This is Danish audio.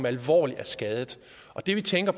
alvorligt skadet og det vi tænker